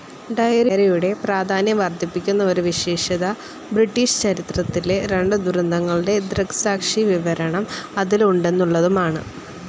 ഡയറിയുടെ പ്രാധാന്യം വർധിപ്പിക്കുന്ന ഒരു വിശേഷത ബ്രിട്ടീഷ് ചരിത്രത്തിലെ രണ്ട് ദുരന്തങ്ങളുടെ ദൃക്‌സാക്ഷിവിവരണം അതിൽ ഉണ്ടെന്നുള്ളതുമാണ്.